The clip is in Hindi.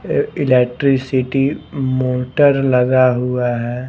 ये इलेक्ट्रिसिटी मोटर लगा हुआ है ।